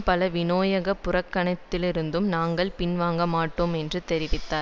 பால் வினியோக புறக்கணிப்பிலிருந்தும் நாங்கள் பின்வாங்க மாட்டோம் என்று தெரிவித்தார்